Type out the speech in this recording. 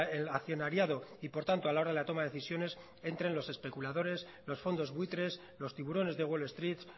el accionariado y por tanto a la hora de la toma de decisiones entren los especuladores los fondos buitres los tiburones de wall street